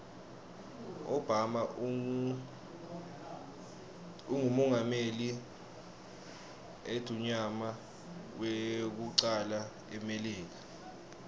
obama ungumengameli idmuyama wekucala emilika